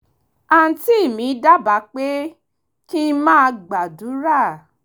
àǹtí mi dábàá pé kí n máa gbàdúrà